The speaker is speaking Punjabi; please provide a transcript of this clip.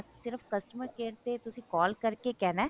ਸਿਰਫ customer care ਤੇ ਤੁਸੀਂ call ਕਰਕੇ ਕਹਿਣਾ